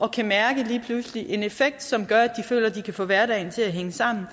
kan mærke en effekt som gør at de føler at de kan få hverdagen til at hænge sammen